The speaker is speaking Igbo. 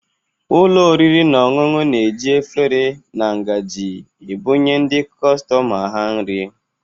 Ụlọ oriri na ọṅụṅụ na-eji efere na ngaji ebụnye ndị kọstọma ha nri